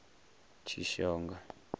tshishonga